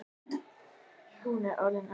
Hún er orðin æst.